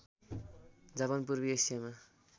Japan पूर्वी एसियामा